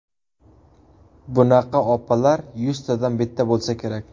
Bunaqa opalar yuztadan bitta bo‘lsa kerak.